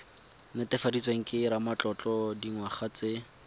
netefaditsweng ke ramatlotlo dingwaga tse